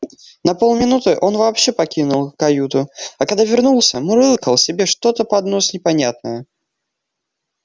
на полминуты он вообще покинул каюту а когда вернулся мурлыкал себе что-то под нос непонятное